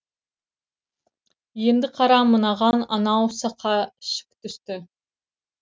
енді қара мынаған анау сақа шік түсті